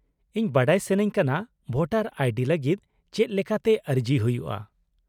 -ᱤᱧ ᱵᱟᱰᱟᱭ ᱥᱟᱱᱟᱧ ᱠᱟᱱᱟ ᱵᱷᱳᱴᱟᱨ ᱟᱭ ᱰᱤ ᱞᱟᱹᱜᱤᱫ ᱪᱮᱫ ᱞᱮᱠᱟᱛᱮ ᱟᱹᱨᱡᱤ ᱦᱩᱭᱩᱜᱼᱟ ᱾